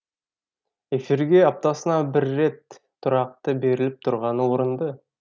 эфирге аптасына бір рет тұрақты беріліп тұрғаны орынды